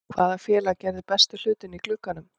Hvaða félag gerði bestu hlutina í glugganum?